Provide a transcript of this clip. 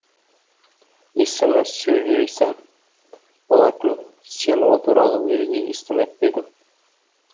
есімі сюй лаосань болатын сен ол туралы уезде естімеп пе едің